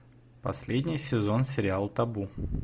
последний сезон сериал табу